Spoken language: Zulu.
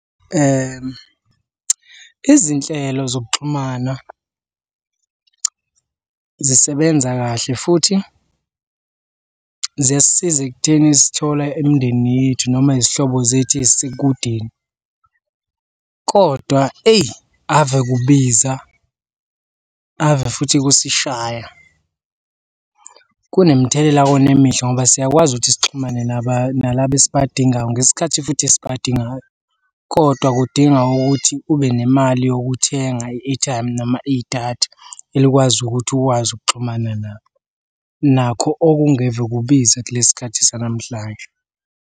Izinhlelo zokuxhumana zisebenza kahle futhi ziyasisiza ekutheni zithola imindeni yethu noma izihlobo zethu ey'sekudeni, kodwa eyi ave kubiza, ave futhi kusishaya. Kunemithelela wona emihle ngoba siyakwazi ukuthi sixhumane nalaba esibadingayo ngesikhathi futhi esibadingayo kodwa kudinga ukuthi ube nemali yokuthenga i-airtime noma idatha elikwazi ukuthi ukwazi ukuxhumana nabo, nakho okungeve kubiza kulesi sikhathi sanamhlanje.